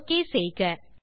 okay செய்க